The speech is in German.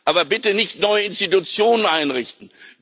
Aber bitte nicht neue Institutionen einrichten!